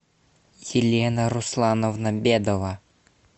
елена руслановна бедова